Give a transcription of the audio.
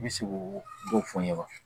N bɛ se k'o dɔw fɔ n ɲɛna